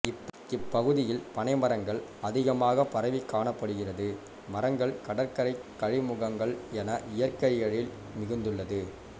இப்பகுதியில் பனைமரங்கள் அதிகமாக பரவிக்காணப்படுகிறது மரங்கள் கடற்கரை கழிமுகங்கள் என இயற்கை எழில் மிகுந்துள்ளது